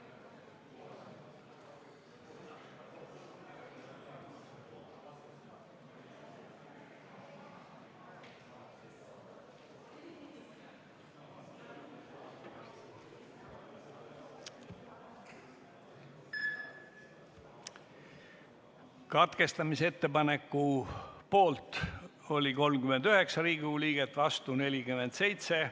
Hääletustulemused Katkestamise ettepaneku poolt oli 39 Riigikogu liiget, vastu 47.